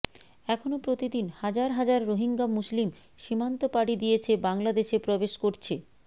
এখনো প্রতিদিন হাজার হাজার রোহিঙ্গা মুসলিম সীমান্ত পাড়ি দিয়েছে বাংলাদেশে প্রবেশ করছে